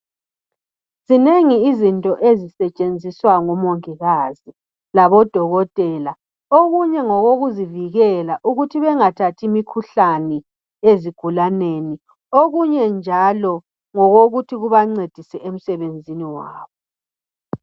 Zinengi izinto ezisetshenziswa ngomongikazi labodokotela. Okunye ngokokuzivikela ukuthi bengathathi imikhuhlane ezigulaneni okunye njalo ngokokuthi kubancedisa emsebenzini wabo.